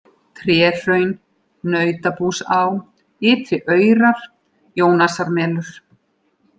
Tréhraun, Nautabúsá, Ytri-Aurar, Jónasarmelur